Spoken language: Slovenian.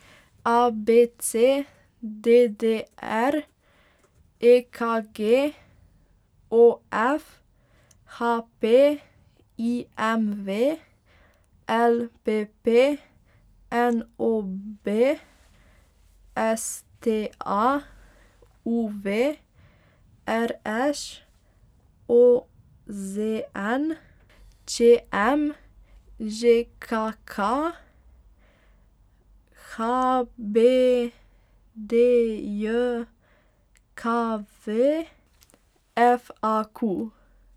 A B C; D D R; E K G; O F; H P; I M V; L P P; N O B; S T A; U V; R Š; O Z N; Č M; Ž K K; H B D J K V; F A Q.